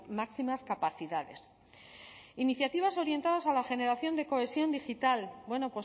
máximas capacidades iniciativas orientadas a la generación de cohesión digital bueno